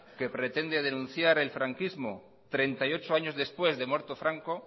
que pretende denunciar al franquismo treinta y ocho años después de muerto franco